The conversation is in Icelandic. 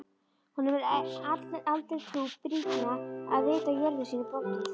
Honum er allri trú brýnna að vita jörðum sínum borgið.